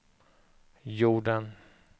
jorden